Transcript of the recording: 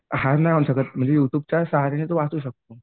हार नाही वाटू शकत म्हणजे यूट्यूबच्या सहाऱ्याने तो वाचू शकतो.